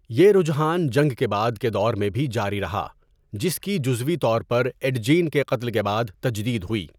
یہ رجحان جنگ کے بعد کے دور میں بھی جاری رہا، جس کی جزوی طور پر ایڈ جین کے قتل کے بعد تجدید ہوئی۔